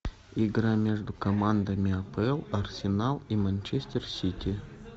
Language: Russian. игра между командами апл арсенал и манчестер сити